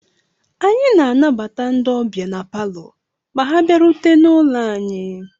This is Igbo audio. Anyị na-anabata ndị ọbịa na Palọ ma ha bịarutere n'ụlọ anyị